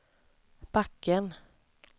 backen